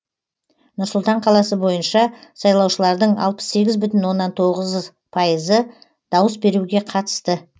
нұр сұлтан қаласы бойынша сайлаушылардың алпыс сегіз бүтін оннан тоғыз пайызы дауыс беруге қатысты